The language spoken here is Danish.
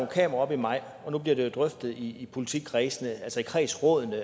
kameraer op i maj og nu bliver det drøftet i politikredsene altså i kredsrådene